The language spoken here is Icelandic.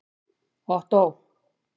Ottó